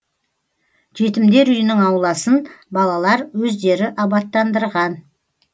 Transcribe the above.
жетімдер үйінің ауласын балалар өздері абаттандырған